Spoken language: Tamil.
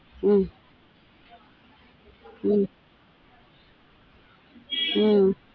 உம் உம் உம்